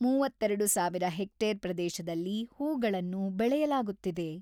ಮೂವತ್ತೆರಡು ಸಾವಿರ ಹೆಕ್ಟೇರ್ ಪ್ರದೇಶದಲ್ಲಿ ಹೂಗಳನ್ನು ಬೆಳೆಯಲಾಗುತ್ತಿದೆ.